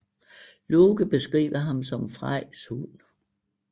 Loke beskriver ham som Frejs hund